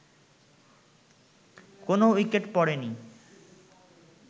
কোন উইকেট পড়েনি